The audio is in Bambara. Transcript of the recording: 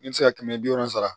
I bɛ se ka kɛmɛ bi wolonfila